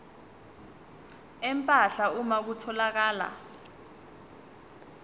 empahla uma kutholakala